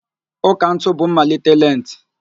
Ụ́kà ntụ bụ mmalite lenti